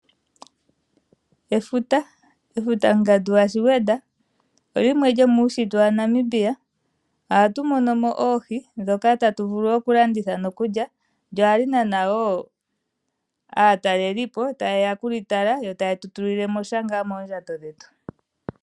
Efuta, efuta ongandu yaShigwedha olimwe lo muushitwe waNamibia. Ohatu mono mo Oohi dhoka tatu vulu oku landitha nokulya. Lyo ohali nana wo aatalelipo ta yeya ku li tala yo taye tu tulile mo sha moondjato dhetu.